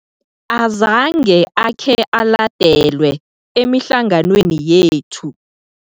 Azange akhe aladelwe emihlanganweni yethu.